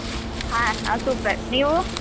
ಹ. ನಾನ್ super , ನೀವು?